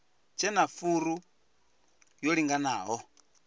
tshe na furu yo linganaho